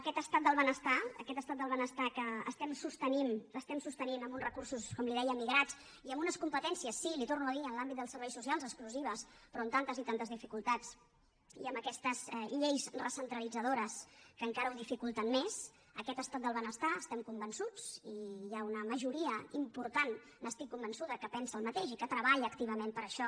aquest estat del benestar aquest estat del benestar que sostenim amb uns recursos com li deia migrats i amb unes competències sí li ho torno a dir en l’àmbit dels serveis socials exclusives però amb tantes i tantes dificultats i amb aquestes lleis recentralitzadores que encara ho dificulten més estem convençuts i hi ha una majoria important n’estic convençuda que pensa el mateix i que treballa activament per això